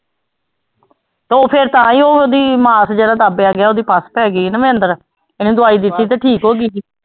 ਉਹ ਫਿਰ ਤਾਂਹਿਓ ਉਹਦੀ ਮਾਸ ਜਿਹੜਾ ਦੱਬਿਆ ਗਿਆ ਉਹਦੀ ਪੱਸ ਪੈ ਗਈ ਨਾ ਅੰਦਰ, ਇਹਨੇ ਦਵਾਈ ਦਿੱਤੀ ਤੇ ਠੀਕ ਹੋ ਗਈ ਸੀ।